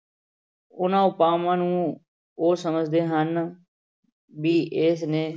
ਉਹਨਾਂ ਉਪਾਵਾਂ ਨੂੰ ਉਹ ਸਮਝਦੇ ਹਨ ਵੀ ਇਸਨੇ